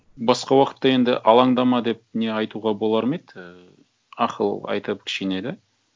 басқа уақытта енді алаңдама деп не айтуға болар ма еді ііі ақыл айтып кішкене де